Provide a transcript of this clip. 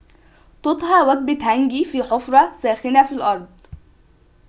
تُطهى وجبة هانجي في حفرة ساخنة في الأرض